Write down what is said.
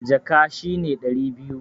Jaka shi ne ɗari biyu.